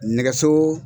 Nɛgɛso